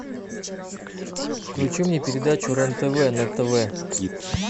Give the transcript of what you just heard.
включи мне передачу рен тв на тв